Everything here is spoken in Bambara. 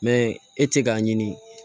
e tɛ k'a ɲini